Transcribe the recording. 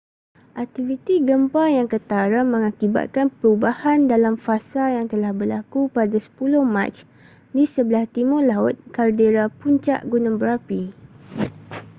aktiviti gempa yang ketara mengakibatkan perubahan dalam fasa yang telah berlaku pada 10 mac di sebelah timur laut kaldera puncak gunung berapi